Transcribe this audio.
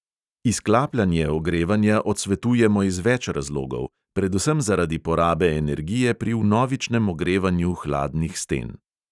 Izklapljanje ogrevanja odsvetujemo iz več razlogov, predvsem zaradi porabe energije pri vnovičnem ogrevanju hladnih sten.